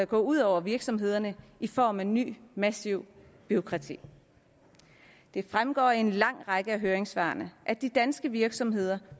gå ud over virksomhederne i form af et nyt massivt bureaukrati det fremgår af en lang række af høringssvarene at de danske virksomheder